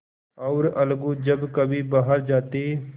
और अलगू जब कभी बाहर जाते